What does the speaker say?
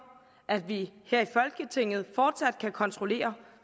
at vi her i folketinget fortsat kan kontrollere